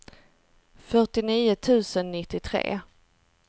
fyrtionio tusen nittiotre